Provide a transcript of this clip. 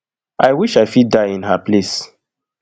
i wish i fit die in her place